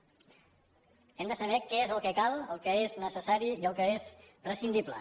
hem de saber què és el que cal el que és necessari i el que és prescindible